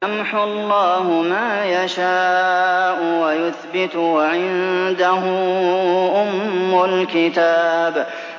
يَمْحُو اللَّهُ مَا يَشَاءُ وَيُثْبِتُ ۖ وَعِندَهُ أُمُّ الْكِتَابِ